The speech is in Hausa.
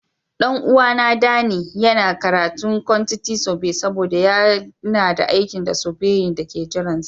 Dan uwa na, Danny, ya ce yana karatun kwantiti sobe saboda yana da aikin sobeyo da ke jiran shi.